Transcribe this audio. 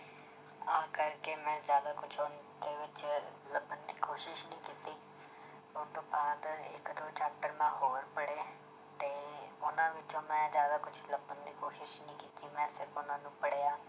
ਆਹ ਕਰਕੇ ਮੈਂ ਜ਼ਿਆਦਾ ਕੁਛ ਦੇ ਵਿੱਚ ਲੱਭਣ ਦੀ ਕੋਸ਼ਿਸ਼ ਨੀ ਕੀਤੀ ਉਹ ਤੋਂ ਬਾਅਦ ਇੱਕ ਦੋ chapter ਮੈਂ ਹੋਰ ਪੜ੍ਹੇ ਤੇ ਉਹਨਾਂ ਵਿੱਚੋਂ ਮੈਂ ਜ਼ਿਆਦਾ ਕੁਛ ਲੱਭਣ ਦੀ ਕੋਸ਼ਿਸ਼ ਨੀ ਕੀਤੀ ਮੈਂ ਸਿਰਫ਼ ਉਹਨਾਂ ਨੂੰ ਪੜ੍ਹਿਆ